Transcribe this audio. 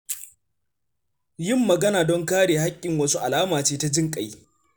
Yin magana don kare haƙƙin wasu alama ce ta jinƙai.